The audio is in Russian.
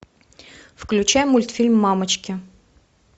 включай мультфильм мамочки